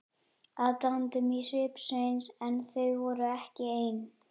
Aðdáun í svip Sveins en þau voru ekki ein.